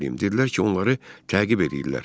Dedilər ki, onları təqib eləyirlər.